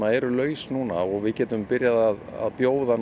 eru laus núna og við getum byrjað að bjóða